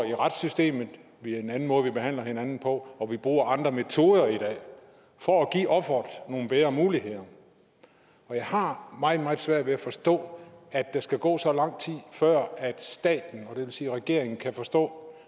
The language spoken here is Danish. i retssystemet det er en anden måde vi behandler hinanden på og vi bruger andre metoder i dag for at give offeret nogle bedre muligheder jeg har meget meget svært ved at forstå at der skal gå så lang tid før staten det vil sige regeringen kan forstå